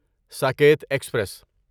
Saket express